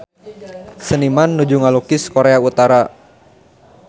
Seniman nuju ngalukis Korea Utara